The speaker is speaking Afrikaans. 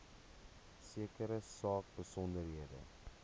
sekere saak besonderhede